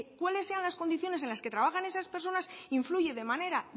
cuáles sean las condiciones en las que trabajan esas personas influye de manera